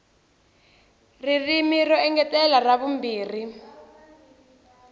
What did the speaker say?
ririmi ro engetela ra vumbirhi